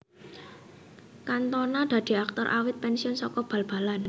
Cantona dadi aktor awit pensiun saka bal balan